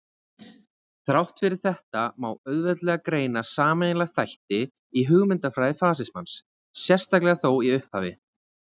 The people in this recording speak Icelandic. Þrátt fyrir þetta má auðveldlega greina sameiginlega þætti í hugmyndafræði fasismans, sérstaklega þó í upphafi.